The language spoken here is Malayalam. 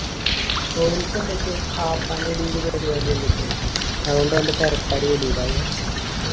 ഓരിക്ക് എന്തൊക്കെ ആഹ് പള്ളില് പരിപാടി എന്തൊക്കെയോ ഉണ്ട് അതുകൊണ്ടാ ഓൻ്റെ പെരക്കാര് വിടൂല